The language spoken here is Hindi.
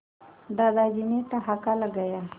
दादाजी ने ठहाका लगाया